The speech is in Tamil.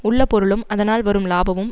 உள்ள பொருளும் அதனால் வரும் லாபமும்